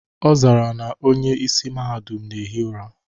Ọ zara na onye isi Mahadum na ehi ụra.